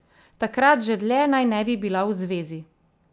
Takrat že dlje naj ne bi bila v zvezi.